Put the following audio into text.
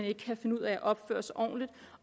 ikke kan finde ud af at opføre sig ordentligt